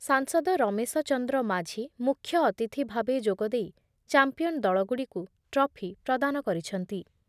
ସାଂସଦ ରମେଶଚନ୍ଦ୍ର ମାଝି ମୁଖ୍ୟ ଅତିଥିଭାବେ ଯୋଗଦେଇ ଚାମ୍ପିୟନ ଦଳଗୁଡ଼ିକୁ ଟ୍ରଫି ପ୍ରଦାନ କରିଛନ୍ତି ।